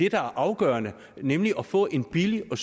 er afgørende nemlig at få en billig og